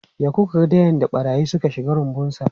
Ya koka da yadda barayi suka shiga rumbunsa.